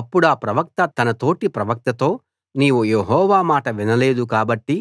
అప్పుడా ప్రవక్త తన తోటి ప్రవక్తతో నీవు యెహోవా మాట వినలేదు కాబట్టి